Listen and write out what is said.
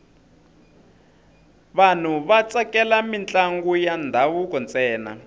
vanhu va tsakela mintlangu ya ndhavuko ntsena